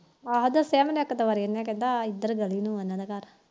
ਹਾ ਦੱਸਿਆ ਇੱਕ ਦੋ ਵਾਰੀ ਇਹਨੇ ਕਹਿੰਦਾ ਇਧਰ ਆ ਉਹਨਾ ਦਾ ਘਰ